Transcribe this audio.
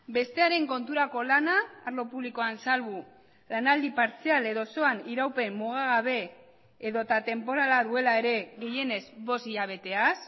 bestearen konturako lana arlo publikoan salbu lanaldi partzial edo osoan iraupen mugagabe edota tenporala duela ere gehienez bost hilabeteaz